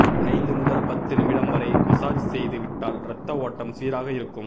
ஐந்து முதல் பத்து நிமிடம் வரை மசாஜ் செய்து விட்டால் ரத்த ஓட்டம் சீராக இருக்கும்